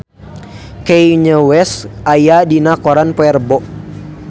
Kanye West aya dina koran poe Rebo